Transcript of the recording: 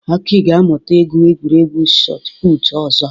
Aki ga-amụta ị gwu egwuregwu Shot Putụ̀ ọzọ.